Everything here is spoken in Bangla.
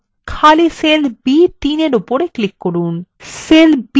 এখন খালি cell b3এর উপর click করুন